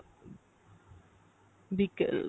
বিকেল